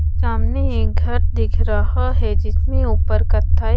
सामने एक घर दिख रहा है जिसमे ऊपर कत्थाई--